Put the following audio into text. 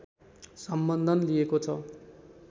सम्बन्धन लिएको छ।